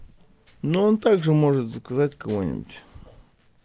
но он также может заказать кого-нибудь